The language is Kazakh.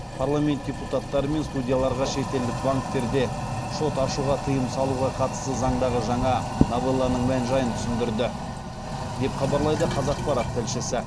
парламент депутаттары мен судьяларға шетелдік банктерде шот ашуға тыйым салуға қатысты заңдағы жаңа новелланың мән жайын түсіндірді деп хабарлайды қазақпарат тілшісі